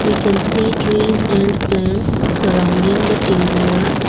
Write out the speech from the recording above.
we can see trees and plants surrounding the area.